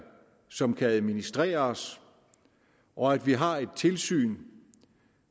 som kan administreres og at vi har et tilsyn